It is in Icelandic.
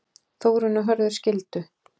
Þórunn og Hörður skildu.